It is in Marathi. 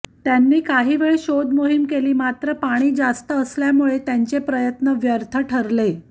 त्यांनी काही वेळ शोध मोहीम केली मात्र पाणी जास्त असल्यामुळे त्यांचे प्रयत्न व्यर्थ ठरले